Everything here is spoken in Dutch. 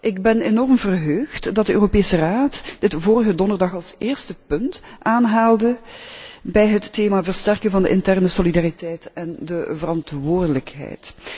Ik ben enorm verheugd dat de Europese Raad dit vorige donderdag als eerste punt aanhaalde bij het thema 'versterken van de interne solidariteit en de verantwoordelijkheid'.